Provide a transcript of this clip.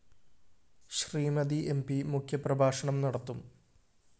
Shrimati M P മുഖ്യപ്രഭാഷണം നടത്തും